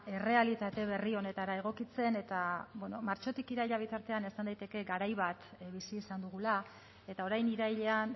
errealitate berri honetara egokitzen eta bueno martxotik iraila bitartean esan daiteke garai bat bizi izan dugula eta orain irailean